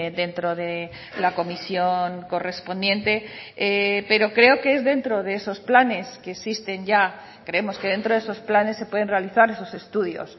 dentro de la comisión correspondiente pero creo que es dentro de esos planes que existen ya creemos que dentro de esos planes se pueden realizar esos estudios